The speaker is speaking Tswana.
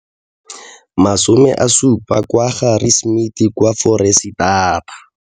70 kwa Harri smith kwa Foreisetata.